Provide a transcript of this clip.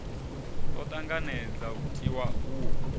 o tanganedza u tiwa uho